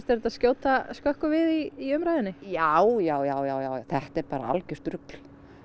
þetta skjóta skökku við í umræðunni já já já já já þetta er bara algjört rugl